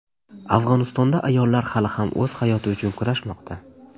Afg‘onistonda ayollar hali ham o‘z hayoti uchun kurashmoqda.